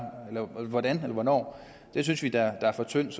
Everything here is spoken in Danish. eller hvordan eller hvornår det synes vi da er for tyndt